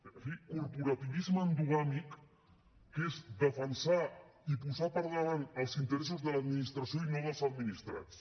en fi de corporativisme endogàmic que és defensar i posar per davant els interessos de l’administració i no dels administrats